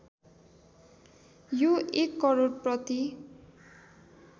यो १ करोड प्रति